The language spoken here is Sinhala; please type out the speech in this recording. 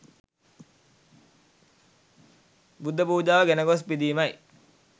බුද්ධ පූජාව ගෙන ගොස් පිදීමයි.